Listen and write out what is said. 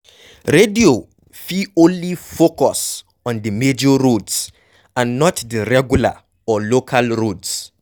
Radio fit only focus on di major roads and not the regular or local roads